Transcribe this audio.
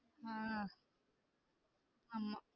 ஆஹ் ஆமா